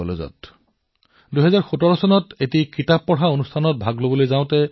মোৰ মনত আছে যে ২০১৭ চনত মই এই মহাবিদ্যালয়ৰ চৌহদত এক কিতাপ পঢ়া কাৰ্যসূচীতযোগদান কৰিছিলো